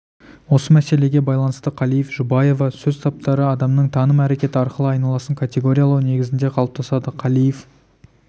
осы мәселеге байланысты қалиев жұбаева сөз таптары адамның таным әрекеті арқылы айналасын категориялау негізінде қалыптасады қалиев